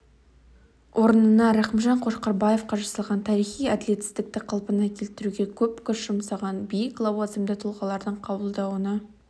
орнына рахымжан қошқарбаевқа жасалған тарихи әділетсіздікті қалпына келтіруге көп күш жұмсаған биік лауазымды тұлғалардың қабылдауына